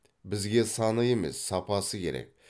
бізге саны емес сапасы керек